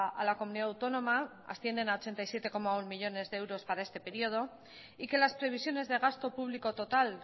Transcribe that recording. a la comunidad autónoma ascienden a ochenta y siete coma uno millónes de euros para este periodo y que las previsiones de gasto público total